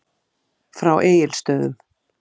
Frá Egilsstöðum.